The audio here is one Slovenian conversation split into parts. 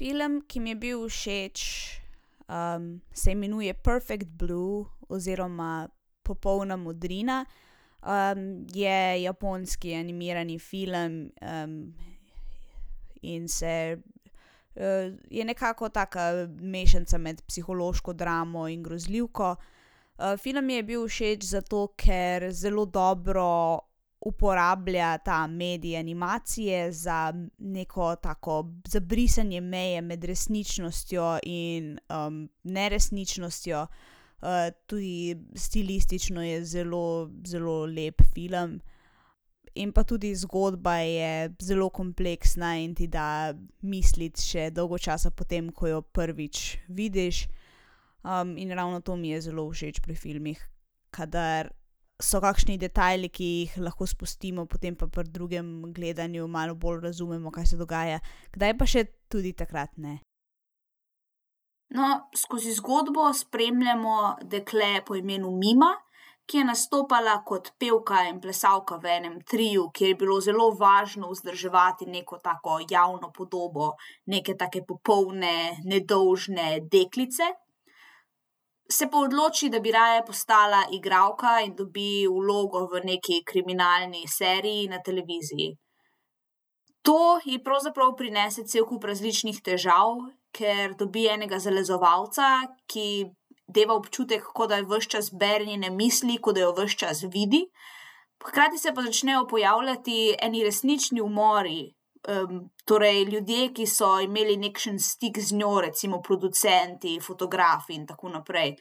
Film, ki mi je bil všeč, se imenuje Perfect blue oziroma Popolna modrina. je japonski animirani film, in se, je nekako taka mešanica med psihološko dramo in grozljivko. film mi je bil všeč, zato ker zelo dobro uporablja ta medij animacije za neko tako zabrisanje meje med resničnostjo in, neresničnostjo. tudi stilistično je zelo, zelo lep film. In pa tudi zgodba je zelo kompleksna in ti da misliti še dolgo časa potem, ko jo prvič vidiš. in ravno to mi je zelo všeč pri filmih, kadar so kakšni detajli, ki jih lahko spustimo, potem pa pri drugim gledanju malo bolj razumemo, kaj se dogaja. Kdaj pa še tudi takrat ne. No, skozi zgodbo spremljamo dekle po imenu Mima, ki je nastopala kot pevka in plesalka v enem triu, kjer je bilo zelo važno vzdrževati neko tako javno podobo neke take popoldne, nedolžne deklice. Se pa odloči, da bi raje postala igralka, in dobi vlogo v nekaj kriminalni seriji na televiziji. To je pravzaprav prinese cel kup različnih težav, ker dobi enega zalezovalca, ki je deva občutek, kot da ves čas bere njene misli, kot da jo ves čas vidi, hkrati se pa začnejo pojavljati eni resnični umori, torej ljudje, ki so imeli nekakšen stik z njo, recimo producenti, fotografi in tako naprej,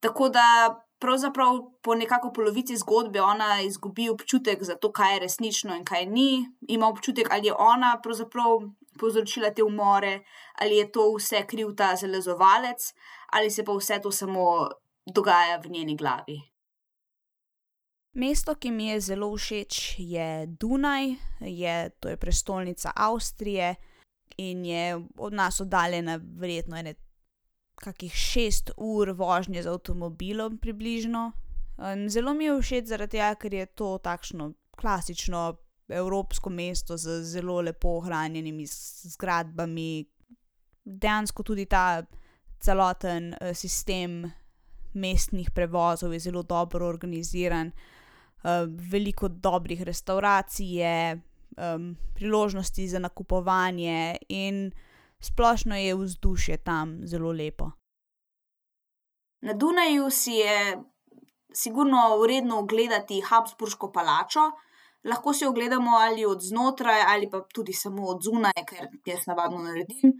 tako da pravzaprav po nekako polovici zgodbe ona izgubi občutek za to, kaj je resnično in kaj ni. Ima občutek, ali je ona pravzaprav povzročila te umore ali je to vse kriv ta zalezovalec ali se pa vse to samo dogaja v njeni glavi. Mesto, ki mi je zelo všeč, je Dunaj, je, to je prestolnica Avstrije in je od nas oddaljena verjetno ene kakih šest ur vožnje z avtomobilom približno. zelo mi je všeč zaradi tega, ker je to takšno klasično evropsko mesto z zelo lepo ohranjenimi zgradbami, dejansko tudi ta celotni, sistem mestnih prevozov je zelo dobro organiziran. veliko dobrih restavracij je, priložnosti za nakupovanje in splošno je vzdušje tam zelo lepo. Na Dunaju si je sigurno vredno ogledati Habsburško palačo. Lahko si jo ogledamo ali od znotraj ali pa tudi samo od zunaj, ker jaz navadno naredim,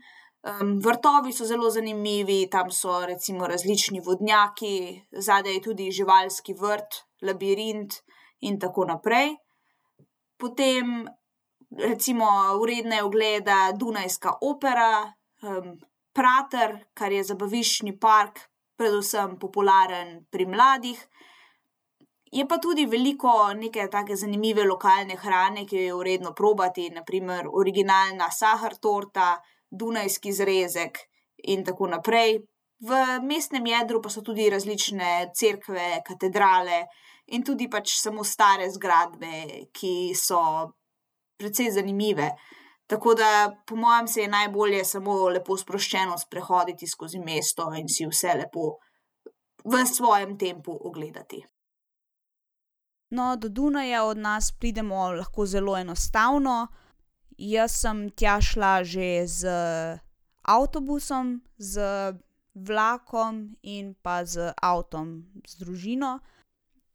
vrtovi so zelo zanimivi, tam so recimo različni vodnjaki, zadaj je tudi živalski vrt, labirint in tako naprej. Potem recimo vredna je ogleda dunajska opera, Prater, kar je zabaviščni park, predvsem popularen pri mladih je pa tudi veliko neke take zanimive lokalne hrane, ki jo je vredno probati, na primer originalna saher torta, dunajski zrezek in tako naprej. V mestnem jedru pa so tudi različne cerkve, katedrale in tudi pač samo stare zgradbe, ki so precej zanimive, tako da po mojem se je najbolje samo lepo sproščeno sprehoditi skozi mesto in si vse lepo v svojem tempu ogledati. No, do Dunaja od nas pridemo lahko zelo enostavno. Jaz sem tja šla že z avtobusom, z vlakom in pa z avtom, z družino.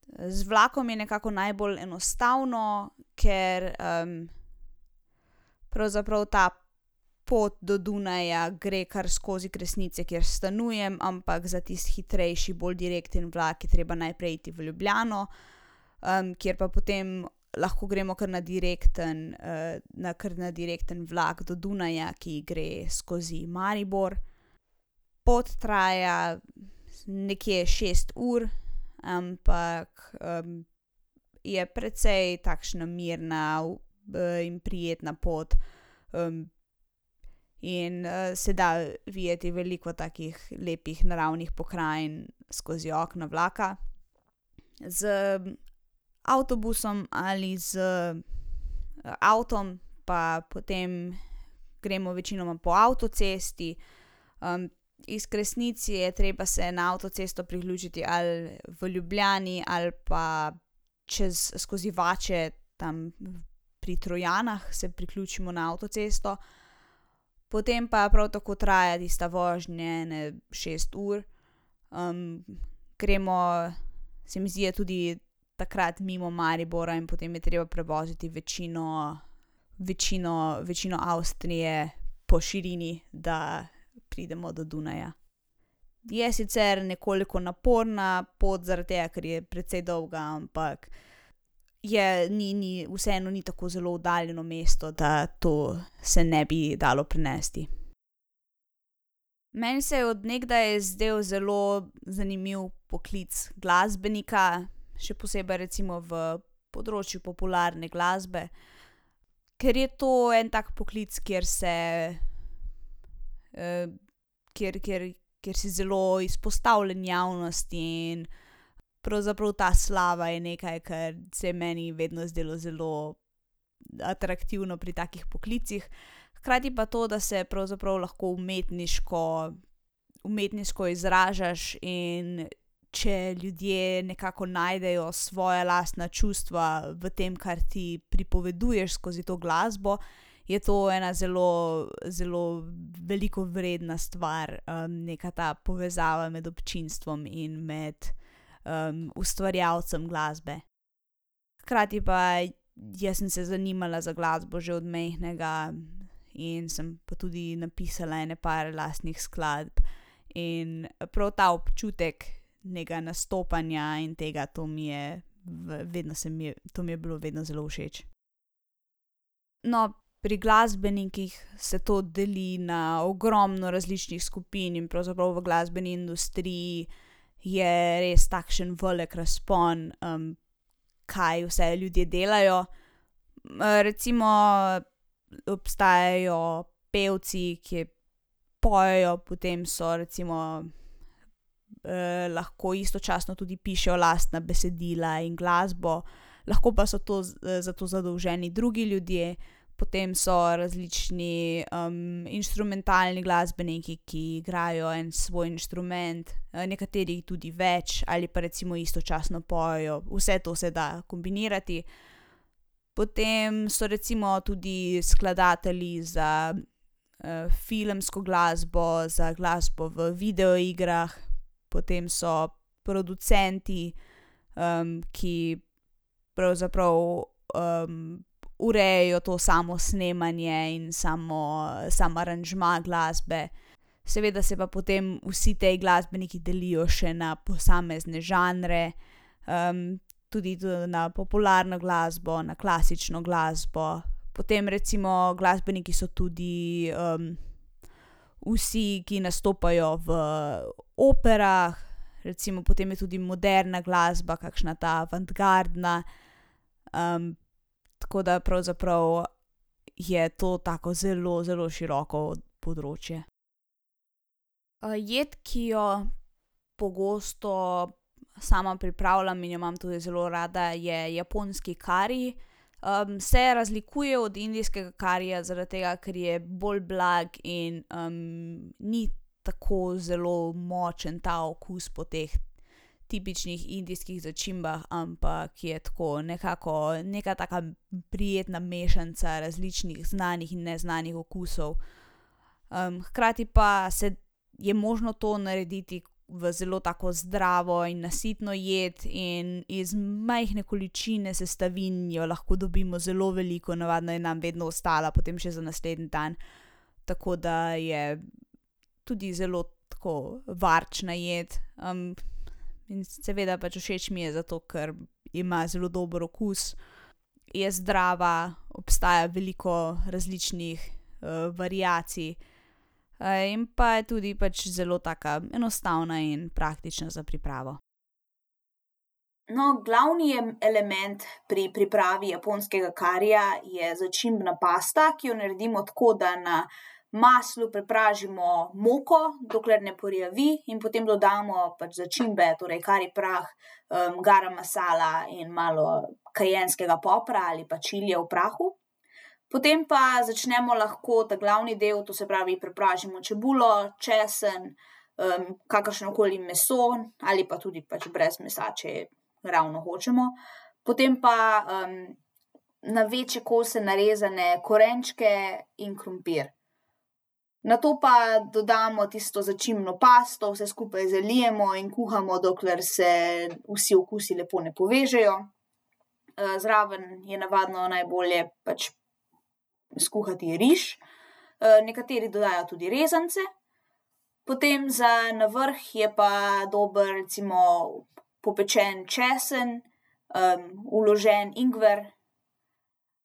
z vlakom je nekako najbolj enostavno, ker, pravzaprav ta pot do Dunaja gre kar skozi Kresnice, kjer stanujem, ampak za tisti hitrejši bolj direktni vlak je treba najprej iti v Ljubljano, kjer pa potem lahko gremo kar na direktni, na kar na direktni vlak do Dunaja, ki gre skozi Maribor. Pot traja nekje šest ur, ampak je precej takšna mirna, in prijetna pot, in, se da videti veliko takih lepih, naravnih pokrajin skozi okno vlaka. Z avtobusom ali z avtom pa potem gremo večinoma po avtocesti. iz Kresnic je treba se na avtocesto priključiti ali v Ljubljani ali pa čez skozi Vače tam pri Trojanah se priključimo na avtocesto. Potem pa prav tako traja tista vožnje ene šest ur, gremo, se mi zdi, da tudi takrat mimo Maribora in potem je treba prevoziti večino, večino, večino Avstrije po širini, da pridemo do Dunaja. Je sicer nekoliko naporna pot, zaradi tega, ker je precej dolga, ampak je ni, ni, vseeno ni tako zelo oddaljeno mesto, da to se ne bi dalo prenesti. Meni se je od nekdaj zdelo zelo zanimiv poklic glasbenika, še posebej recimo v področju popularne glasbe, ker je to en tak poklic, kjer se, kjer, kjer kjer si zelo izpostavljen javnosti in pravzaprav ta slava je nekaj, kar se je meni vedno zdelo zelo atraktivno pri takih poklicih. Hkrati pa to, da se pravzaprav lahko umetniško, umetniško izražaš, in če ljudje nekako najdejo svoja lastna čustva v tem, kar ti pripoveduješ skozi to glasbo, je to ena zelo, zelo veliko vredna stvar, neka ta povezava med občinstvom in med, ustvarjalcem glasbe. Hkrati pa jaz sem se zanimala za glasbo že od majhnega in sem pa tudi napisala ene par lastnih skladb. In prav ta občutek nekega nastopanja in tega, to mi je v vedno se mi je, to mi je vedno bilo zelo všeč. No, pri glasbenikih se to deli na ogromno različnih skupin in pravzaprav v glasbeni industriji je res takšen velik razpon, kaj vse ljudje delajo. recimo obstajajo pevci, ki pojejo, potem so recimo, lahko istočasno tudi pišejo lastna besedila in glasbo. Lahko pa so to za, za to zadolženi drugi ljudje, potem so različni, inštrumentalni glasbeniki, ki igrajo en svoj inštrument, nekateri jih tudi več ali pa recimo istočasno pojejo. Vse to se da kombinirati. Potem so recimo tudi skladatelji za, filmsko glasbo, za glasbo v videoigrah, potem so producenti, ki pravzaprav, urejajo to samo snemanje in samo, sam aranžma glasbe. Seveda se pa potem vsi ti glasbeniki delijo še na posamezne žanre, tudi na popularno glasbo, na klasično glasbo, potem recimo glasbeniki so tudi, vsi, ki nastopajo v operah, recimo potem je tudi moderna glasbe kakšna ta avantgardna, tako da pravzaprav je to tako zelo, zelo široko področje. jed, ki jo pogosto sama pripravljam in jo imam tudi zelo rada, je japonski kari. se razlikuje od indijskega karija zaradi tega, ker je bolj blag in, ni tako zelo močen ta okus po teh tipičnih indijskih začimbah, ampak je tako nekako neka taka prijetna mešanca različnih znanih in neznanih okusov, hkrati pa se je možno to narediti v zelo tako zdravo in nasitno jed in iz majhne količine sestavin jo lahko dobimo zelo veliko. Navadno je nam vedno ostala potem še za naslednji dan. Tako da je tudi zelo tako varčna jed, in seveda pač všeč mi je, zato ker ima zelo dobro okus, je zdrava, obstaja veliko različnih, variacij, in pa je tudi pač zelo taka enostavna in praktična za pripravo. No, glavni element pri pripravi japonskega karija je začimbna pasta, ki jo naredimo tako, da na maslu prepražimo moko, dokler ne porjavi in potem dodamo pač začimbe, torej kari prah, garam masala in malo kajenskega popra ali pa čilija v prahu. Potem pa začnemo lahko ta glavni del, to se pravi prepražimo čebulo, česen, kakršno koli meso ali pa tudi pač brez mesa, če je ravno hočemo. Potem pa, na večje kose narezane korenčke in krompir. Nato pa dodamo tisto začimbno pasto, vse skupaj zalijemo in kuhamo, dokler se vsi okusi lepo ne povežejo. zraven je navadno najbolje pač skuhati riž, nekateri dodajajo tudi rezance. Potem za na vrh je pa dober recimo popečen česen, vložen ingver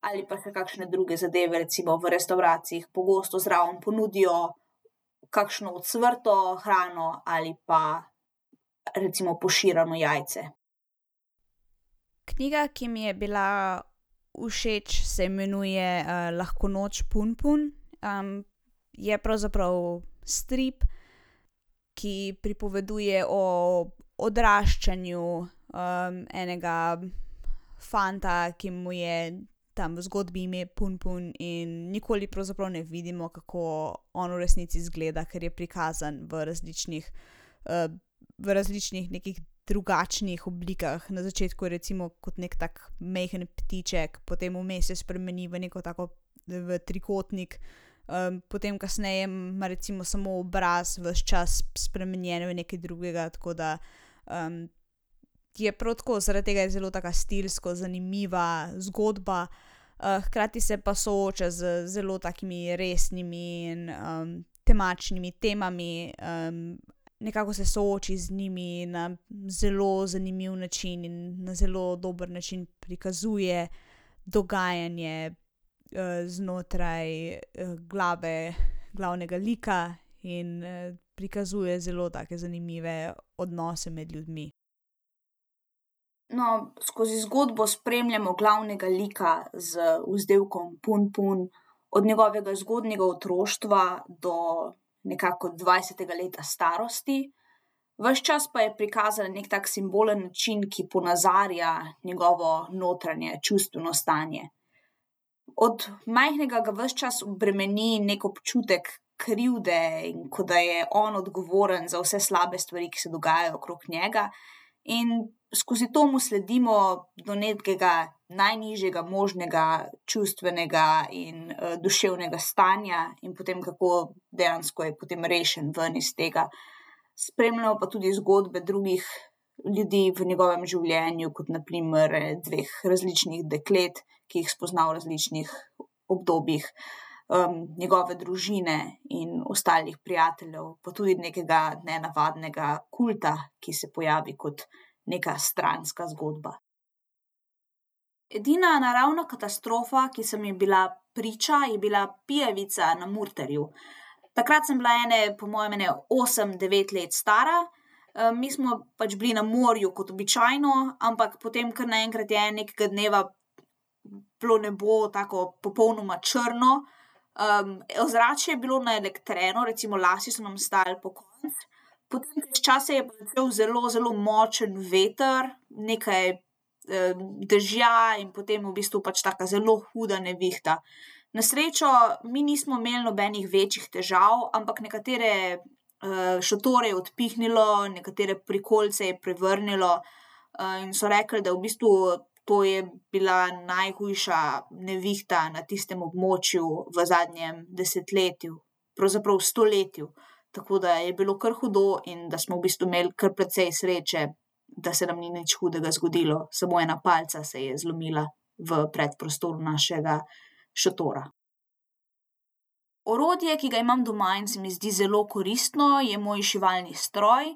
ali pa se kakšne druge zadeve, recimo v restavracijah pogosto zraven ponudijo kakšno ocvrto hrano ali pa recimo poširano jajce. Knjiga, ki mi je bila všeč, se imenuje, Lahko noč, Punpun. je pravzaprav strip, ki pripoveduje o odraščanju, enega fanta, ki mu je tam v zgodbi ime Punpun in nikoli pravzaprav ne vidimo, kako on v resnici izgleda, ker je prikazan v različnih, v različnih nekih drugačnih oblikah. Na začetku recimo kot neki tak majhen ptiček, potem vmes se spremeni v neko tako v trikotnik, potem kasneje ima recimo samo obraz, ves čas spremenjen v nekaj drugega, tako da, je prav tako, zaradi tega je zelo taka stilsko zanimiva zgodba, hkrati se pa sooča z zelo takimi resnimi in, temačnimi temami, nekako se sooči z njimi na zelo zanimiv način in na zelo dober način prikazuje dogajanje, znotraj, glavnega lika in, prikazuje zelo take zanimive odnose med ljudmi. No, skozi zgodbo spremljamo glavnega lika z vzdevkom Punpun od njegovega zgodnjega otroštva do nekako dvajsetega leta starosti. Ves čas pa je prikazan neki tak simbolni način, ki ponazarja njegovo notranje čustveno stanje. Od majhnega ga ves čas bremeni neki občutek krivde, in kot da je on odgovoren za vse slabe stvari, ki se dogajajo okrog njega, in skozi to mu sledimo do nekega najnižjega možnega čustvenega in duševnega stanja in potem, kako dejansko je potem rešen ven iz tega. Spremljamo pa tudi zgodbe drugih ljudi v njegovem življenju, kot na primer dveh različnih deklet, ki ju spozna v različnih obdobjih, njegove družine in ostalih prijateljev pa tudi nekega nenavadnega kulta, ki se pojavi kot neka stranska zgodba. Edina naravna katastrofa, ki sem ji bila priča, je bila pijavica na Murterju. Takrat sem bila ene, po mojem ene osem, devet let stara, mi smo pač bili na morju kot običajno, ampak potem kar naenkrat je en, nekega dneva bilo nebo tako popolnoma črno, ozračje je bilo naelektreno, recimo lasje so nam stali pokonci. Po nekaj časa je pa začel zelo zelo močen veter, nekaj, dežja in potem v bistvu pač taka zelo huda nevihta. Na srečo mi nismo imeli nobenih večjih težav, ampak nekatere, šotore je odpihnilo, nekatere prikolice je prevrnilo. in so rekli, da v bistvu to je bila najhujša nevihta na tistem območju v zadnjem desetletju. Pravzaprav stoletju. Tako da je bilo kar hudo in da smo v bistvu imel kar precej sreče, da se nam ni nič hudega zgodilo. Samo ena palica se je zlomila v predprostoru našega šotora. Orodje, ki ga imam doma in se mi zdi zelo koristno, je moj šivalni stroj.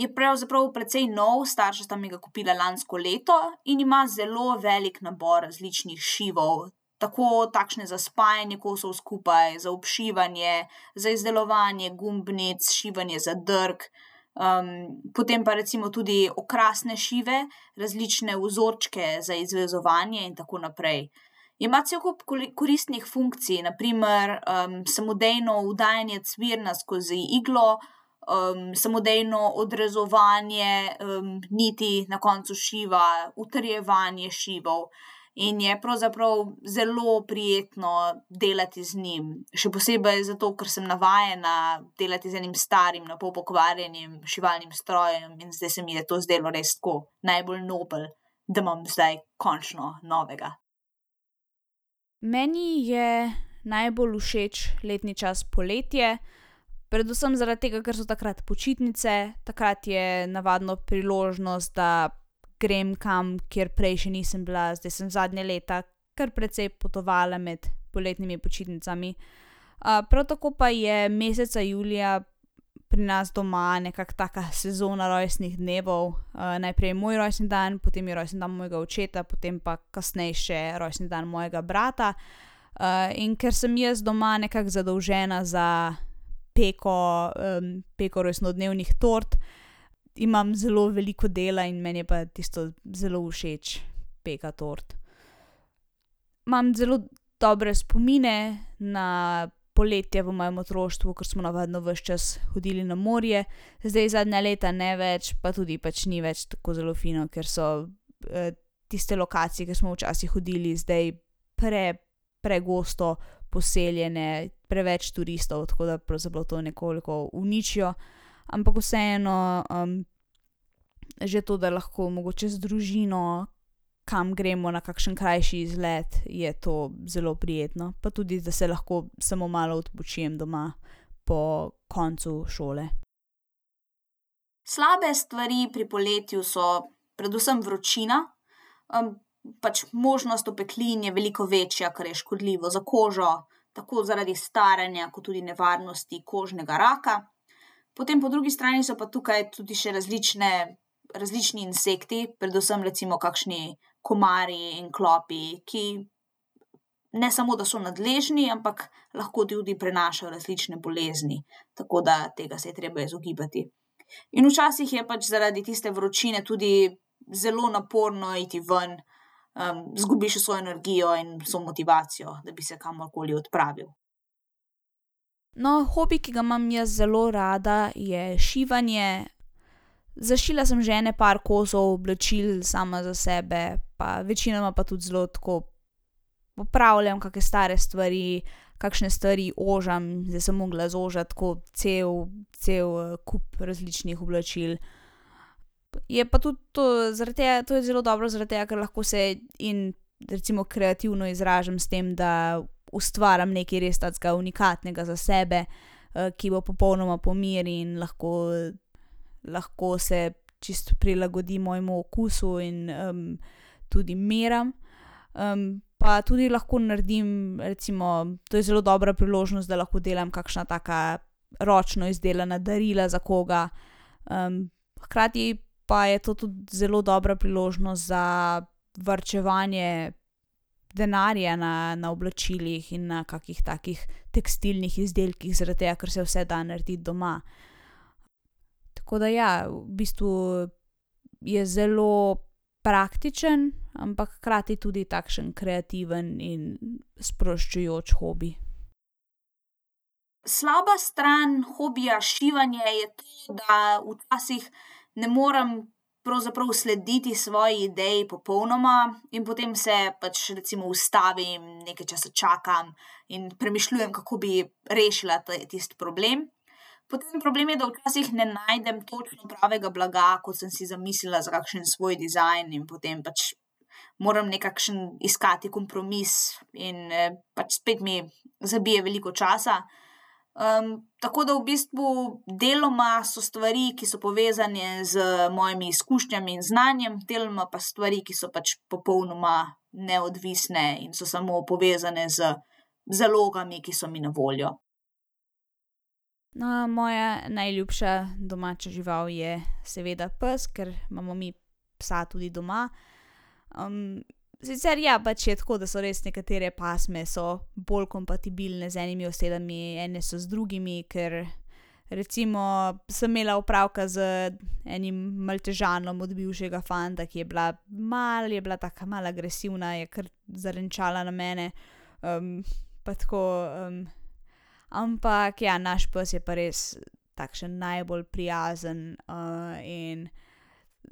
je pravzaprav precej nov. Starša sta mi ga kupila lansko leto in ima zelo velik nabor različnih šivov, tako, takšne za spajanje kosov skupaj, za obšivanje, za izdelovanje gumbnic, šivanje zadrg, potem pa recimo tudi okrasne šive, različne vzorčke za izvezovanje in tako naprej. Ima cel kup koristnih funkcij, na primer, samodejno vdajanje cvirna skozi iglo, samodejno odrezovanje, niti na koncu šiva, utrjevanje šivov in je pravzaprav zelo prijetno delati z njim. Še posebej zato, ker sem navajena delati z enim starim, na pol pokvarjenim šivalnim strojem in zdaj se mi je to zdelo res tako, najbolj nobel, da imam zdaj končno novega. Meni je najbolj všeč letni čas poletje, predvsem zaradi tega, ker so takrat počitnice, takrat je navadno priložnost, da grem kam, kjer prej še nisem bila. Zdaj sem zadnja leta kar precej potovala med poletnimi počitnicami. prav tako pa je meseca julija pri nas doma nekako taka sezona rojstnih dnevov, najprej je moj rojstni dan, potem je rojstni dan mojega očeta, potem pa kasneje še rojstni dan mojega brata. in ker sem jaz doma nekako zadolžena za peko, peko rojstnodnevnih tort, imam zelo veliko dela in meni je pa tisto zelo všeč, peka tort. Imam zelo dobre spomine na poletje v mojem otroštvu, ker smo navadno ves čas hodili na morje. Zdaj zadnja leta ne več pa tudi pač ni več tako zelo fino, ker so, tiste lokacije, kjer smo včasih hodili, zdaj pregosto poseljene, preveč turistov, tako da pravzaprav to je nekoliko uničijo, ampak vseeno, že to, da lahko mogoče z družino kam gremo, na kakšen krajši izlet, je to zelo prijetno pa tudi, da se lahko samo malo odpočijem doma po koncu šole. Slabe stvari pri poletju so predvsem vročina, pač možnost opeklin je veliko večja, kar je škodljivo za kožo. Tako zaradi staranja kot tudi nevarnosti kožnega raka. Potem po drugi strani so pa tukaj tudi še različne, različni insekti, predvsem recimo kakšni komarji in klopi, ki ne samo da so nadležni, ampak lahko tudi prenašajo različne bolezni. Tako da tega se je treba izogibati. In včasih je pač zaradi tiste vročine tudi zelo naporno iti ven, izgubiš vso energijo in vso motivacijo, da bi se kamorkoli odpravil. No, hobi, ki ga imam jaz zelo rada, je šivanje. Zašila sem že ene par kosov oblačil sama za sebe, pa večinoma pa tudi zelo tako popravljam kake stare stvari, kakšne stvari ožam, zdaj sem mogla zožat tako cel, cel, kup različnih oblačil. Je pa tudi to zaradi tega, to je zelo dobro zaradi tega, ker to se lahko in recimo kreativno izražam s tem, da ustvarim nekaj takega unikatnega za sebe, ki bo popolnoma po meri in lahko, lahko se čisto prilagodim mojemu okusu in, tudi meram. pa tudi lahko naredim, recimo, to je zelo dobra priložnost, da lahko delam kakšna taka ročno izdelana darila za koga, hkrati pa je to tudi zelo dobra priložnost za varčevanje denarja na, na oblačilih in na kakih takih tekstilnih izdelkih, zaradi tega, ker se vse da narediti doma. Tako da ja, v bistvu je zelo praktično, ampak hkrati tudi takšen kreativen in sproščujoč hobi. Slaba stran hobija šivanja je to, da včasih ne morem pravzaprav slediti svoji ideji popolnoma in potem se pač recimo ustavim, nekaj časa čakam in premišljujem, kako bi rešila tisti problem. Potem problem je, da včasih ne najdem točno pravega blaga, kot sem si zamislila za kakšen svoj dizajn, in potem pač moram nekakšen iskati kompromis in, pač spet mi zabije veliko časa, tako da v bistvu deloma so stvari, ki so povezane z mojimi izkušnjami in znanjem, deloma pa stvari, ki so pač popolnoma neodvisne in so samo povezane z zalogami, ki so mi na voljo. No, moja najljubša domača žival je seveda pes, ker imamo mi psa tudi doma. sicer ja, pač je tako, da so res nekatere pasme so bolj kompatibilne z enimi osebami, ene so z drugimi, ker recimo sem imela opravka z enim maltežanom od bivšega fanta, ki je bila malo je bila taka malo agresivna, je kar zarenčala na mene. pa tako, ampak, ja, naš pes je pa res takšen najbolj prijazen, in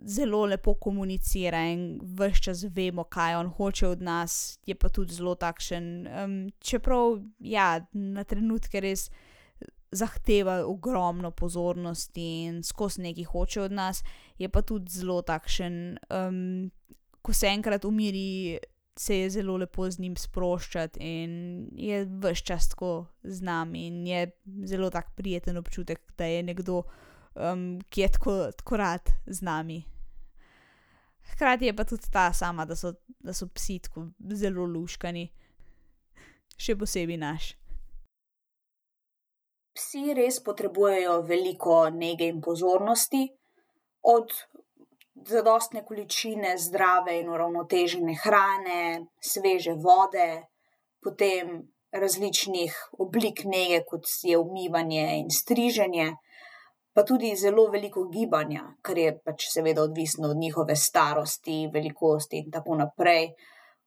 zelo lepo komunicira in ves čas vemo, kaj on hoče od nas, je pa tudi zelo takšen, čeprav ja, na trenutke res zahteva ogromno pozornosti in skozi nekaj hoče od nas. Je pa tudi zelo takšen, ko se enkrat umiri, se je zelo lepo z njim sproščati in je ves čas tako z nami in je zelo prijeten občutek, da je nekdo tako, ki je tako, tako rad z nami. Hkrati je pa tudi ta sama, da so da so psi tako zelo luštkani. Še posebej naš. Psi res potrebujejo veliko nege in pozornosti. Od zadostne količine zdrave in uravnotežene hrane, sveže vode potem različnih oblik nege, kot je umivanje in striženje. Pa tudi zelo veliko gibanja, kar je pač seveda odvisno od njihove starosti, velikosti in tako naprej.